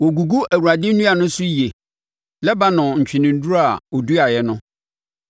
Wɔgugu Awurade nnua no so yie, Lebanon ntweneduro a ɔduaeɛ no.